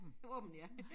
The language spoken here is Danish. Åbent ja